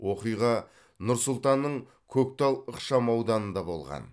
оқиға нұр сұлтанның көктал ықшамауданында болған